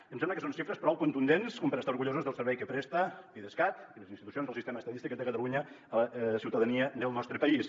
i em sembla que són xifres prou contundents com per estar orgullosos del servei que presta l’idescat i les institucions del sistema estadístic de catalunya a la ciutadania del nostre país